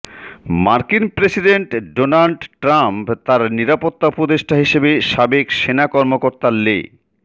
মার্কিন president Donald Trump তার নিরাপত্তা উপদেষ্টা হিসেবে সাবেক সেনা কর্মকর্তা লে